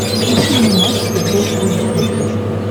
включи мне матч футбол три на смотрешке